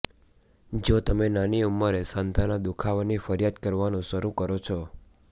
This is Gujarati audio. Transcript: જો તમે નાની ઉંમરે સાંધાના દુખાવાની ફરિયાદ કરવાનું શરૂ કરો છો